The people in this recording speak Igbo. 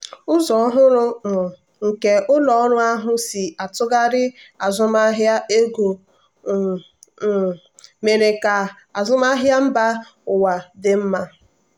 ụzọ ọhụrụ um nke ụlọ ọrụ ahụ si atụgharị azụmahịa ego um um mere ka azụmahịa mba ụwa dị mma.